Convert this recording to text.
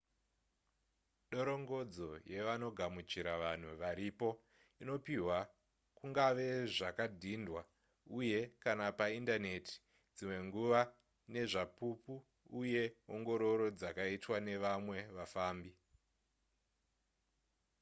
dorongodzo yevanogamuchira vanhu varipo inopihwa kungave zvakadhindwa uye / kana paindaneti dzimwe nguva nezvapupu uye ongororo dzakaitwa nevamwe vafambi